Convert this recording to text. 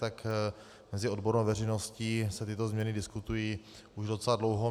Tak mezi odbornou veřejností se tyto změny diskutují už docela dlouho.